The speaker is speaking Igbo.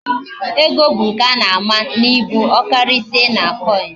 Ego bu nke ana ama na ibu, okarisia na coin